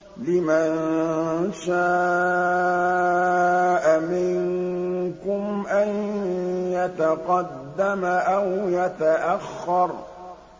لِمَن شَاءَ مِنكُمْ أَن يَتَقَدَّمَ أَوْ يَتَأَخَّرَ